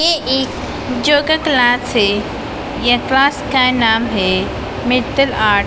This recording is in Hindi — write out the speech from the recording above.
ये एक क्लास है ये क्लास का नाम है मित्तल आर्ट --